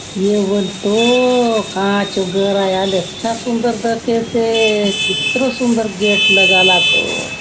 ए बले तो कहाँ चो घर आय आले अच्छा सुंदर दखेसे कितरो सुंदर गेट लगा लासोत।